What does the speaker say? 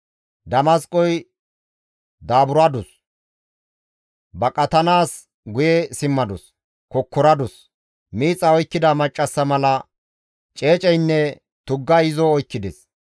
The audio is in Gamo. Damasqoy daaburadus; baqatanaas guye simmadus; kokkoradus; miixay oykkida maccassa mala ceeceynne tuggay izo oykkides.